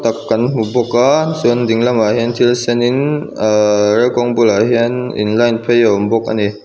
tak kan hmu bawk a chuan dinglamah hian thil sen in ah rel kawng bulah hian in line phei a awm bawk ani.